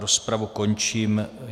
Rozpravu končím.